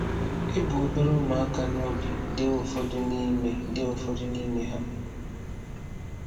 E bu obere ụmụaka n’obi dee ụfọdụ n’ime dee ụfọdụ n’ime ha.